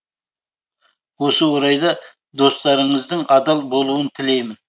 осы орайда достарыңыздың адал болуын тілеймін